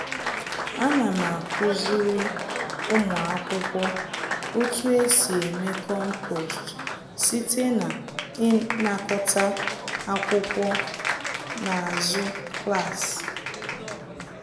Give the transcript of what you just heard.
Ana m akuziri ụmụ akwụkwọ otu esi eme compost site na ịnakọta akwụkwọ n'azụ klaasị.